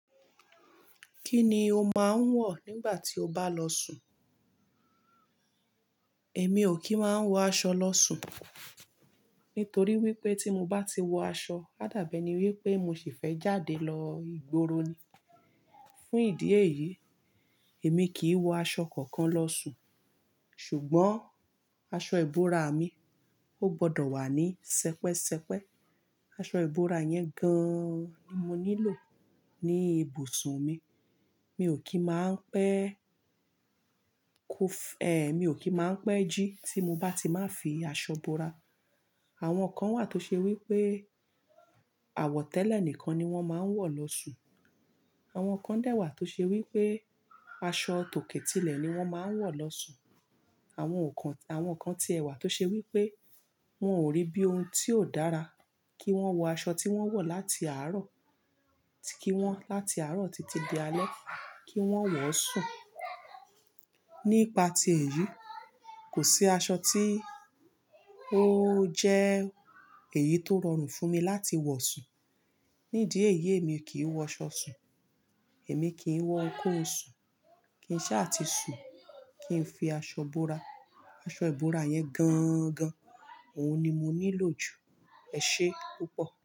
Kí ni o máa ń wọ̀ nígbà tí o bá lọ sùn? Èmi ò kí ń máa ń wọ aṣọ lọ sùn, nítorí wípé tí mo bá ti wọ aṣọ, á dàbí ẹ ni wípé mo sì fẹ́ jáde lọ ìgboro ni. Fún ìdí èyí, èmi kì í wọ aṣọ kankan lọ sùn. Ṣùgbọ́n aṣọ ìbora mi, ó gbọdọ̀ wà ní sẹpẹ́sẹpẹ́. Aṣọ ìbora yẹn gan-an ni mo nílò ní ibùsùn mi. Mi ò kí máa ń pẹ́, kò f-- ẹ, mi ò kí máa ń pẹ́ jí tí mo bá ti máa ń fi aṣọ bora. Àwọn kan wà tó ṣe wípé àwọ̀tẹ́lẹ̀ nìkan ni wón máa ń wọ̀ lọ sùn. Àwọn kan dẹ̀ wà tó ṣe wípé aṣọ tòkè tilẹ̀ ni wón máa ń wọ̀ lọ sùn. Àwọn ò kan, àwọn kan ti ẹ̀ wà tó ṣe wípé wón ò rí bí ohun tí ó dára kí wọ́n wọ aṣọ tí wón wọ̀ láti àárọ̀ tí kí wọ́n—láti àárọ̀ títí di alẹ́ kí wón wọ̀ sùn. Nípa ti èyí, kò sí aṣọ tí ó jẹ́ èyí tó rọrùn fún mi láti wọ̀ sùn. Ní ìdí èyí èmi kì í wọ aṣọ sùn. Èmi kì í wọ ohunkóhun sùn, kì n ṣáà sùn, kì n fi aṣọ bora. Aṣọ ìbora yẹn gan-an gan, òun ni mo nílò jù. Ẹ ṣé púpọ̀.